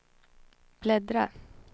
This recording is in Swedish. bläddra